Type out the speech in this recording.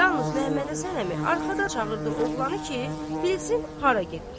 Yalnız Məmmədhəsən əmi arxadan çağırdı oğlanı ki, bilsin hara gedir.